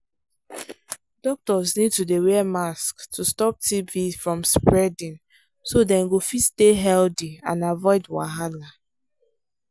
doctors need to dey wear mask to stop tb from spreading so dem go fit stay healthy and avoid wahala.